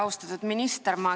Austatud minister!